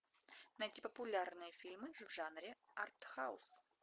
найти популярные фильмы в жанре арт хаус